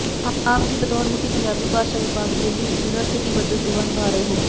ਆਪ ਜੀ ਬਤੌਰ ਮੁਖੀ ਪੰਜਾਬੀ ਭਾਸ਼ਾ ਵਿਭਾਗ ਦਿੱਲੀ ਯੂਨੀਵਰਸਟੀ ਵਜੋ ਸੇਵਾ ਨਿਭਾ ਰਹੇ ਹੋ